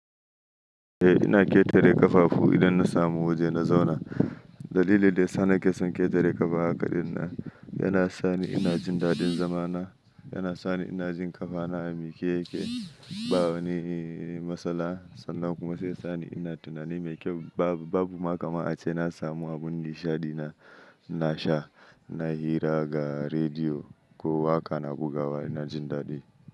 Eh ina ƙetare ƙafafu idan na samu waje na zauna. Dalilin da ya sa nake son ƙetare ƙafa hakaɗin nan yana sani ina jin daɗin zama na, yana sani ina jin ƙafa na a miƙe yake, ba wani matsala sannan kuma sai sani ina tunani mai kyau. Babu ma kama ace na samu abun nishaɗi na, ina sha, ina hira ga rediyo ko haka na guga wa ina jin daɗi.